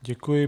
Děkuji.